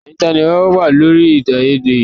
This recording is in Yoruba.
Ẹyin tá ni ìwọ wà lórí èdèàìyedè yìí?